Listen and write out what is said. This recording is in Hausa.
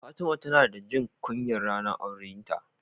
Fatima ta na ta jin kunya ranar aurenta.